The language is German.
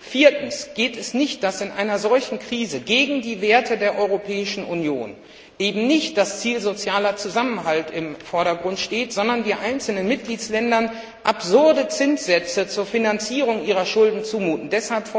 Viertens geht es nicht, dass in einer solchen Krise gegen die Werte der Europäischen Union eben nicht das Ziel des sozialen Zusammenhalts im Vordergrund steht, sondern dass einzelnen Mitgliedsländern absurde Zinssätze zur Finanzierung ihrer Schulden zugemutet werden.